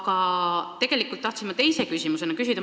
Aga tegelikult tahtsin ma teise küsimusena muud küsida.